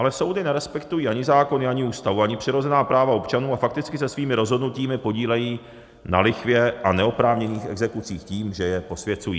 Ale soudy nerespektují ani zákony, ani Ústavu, ani přirozená práva občanů a fakticky se svými rozhodnutími podílejí na lichvě a neoprávněných exekucích tím, že je posvěcují.